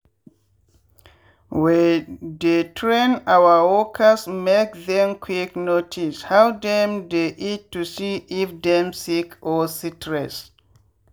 we dey train our workers make them quick notice how dem dey eat to see if dem sick or stress.